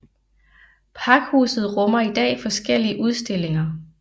Pakhuset rummer i dag forskellige udstillinger